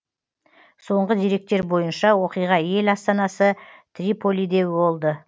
соңғы деректер бойынша оқиға ел астанасы триполиде болды